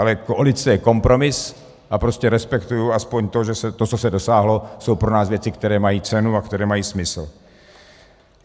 Ale koalice je kompromis a prostě respektuji alespoň to, že to, co se dosáhlo, jsou pro nás věci, které mají cenu a které mají smysl.